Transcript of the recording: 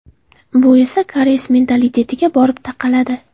Bu esa koreys mentalitetiga borib taqaladi.